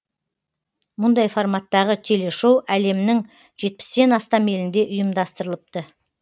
мұндай форматтағы телешоу әлемнің жетпістен астам елінде ұйымдастырылыпты